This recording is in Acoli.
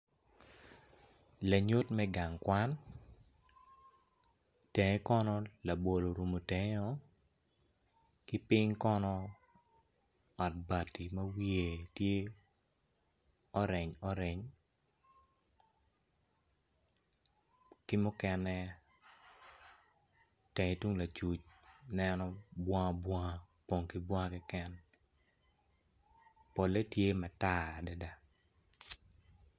Lanyut me gang kwan tenge kono labolo orumu tengeo ki piny kono ot bati ma wiye tye oreny oreny ki mukene itenge tung lacuc neno bunga bunga opong ki bunga kiken polle tye matar kiken